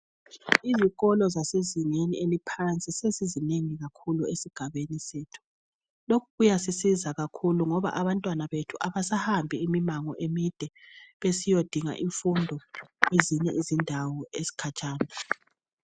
Izikolo zezinga eliphansi sezizinengi kakhulu esigabeni sethu lokhu kuyasisiza kakhulu ngoba abantwana bethu abasahambi imango emide besiyadinga imfundo kwezinye izindawo ezikhatshana.